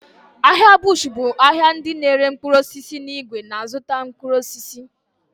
Ahịa bush bụ ahịa ndị n'ere mkpụrụ osisi n'ìgwè na-azụta mkpụrụ osisi.